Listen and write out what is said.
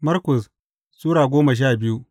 Markus Sura goma sha biyu